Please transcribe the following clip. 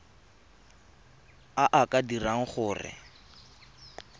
a a ka dirang gore